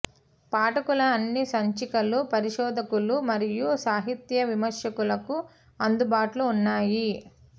పాఠకుల అన్ని సంచికలు పరిశోధకులు మరియు సాహిత్య విమర్శకులకు అందుబాటులో ఉన్నాయి